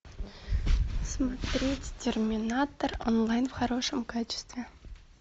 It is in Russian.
смотреть терминатор онлайн в хорошем качестве